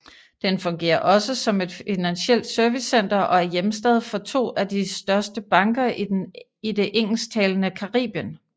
Den fungerer også som et financielt servicecenter og er hjemstad for to af de største banker i det engelsktalende Caribien